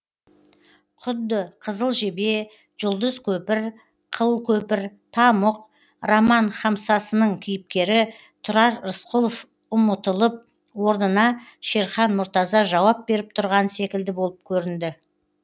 құдды қызыл жебе жұлдыз көпір қыл көпір тамұқ роман хамсасының кейіпкері тұрар рысқұлов ұмытылып орнына шерхан мұртаза жауап беріп тұрған секілді болып көрінді